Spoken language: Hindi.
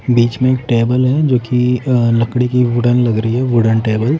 बीच में एक टेबल है जो कि लकड़ी की वुडन लग रही है वुडन टेबल--